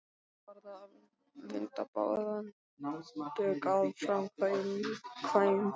Nú varð að vinda bráðan bug að framkvæmdum.